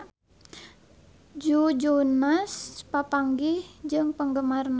Joe Jonas papanggih jeung penggemarna